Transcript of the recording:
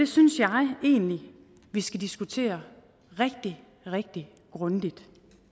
synes jeg vi skal diskutere rigtig rigtig grundigt